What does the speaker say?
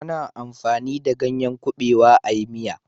A na amfani da ganyen kabewa a yi miya